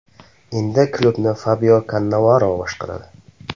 Endi klubni Fabio Kannavaro boshqaradi.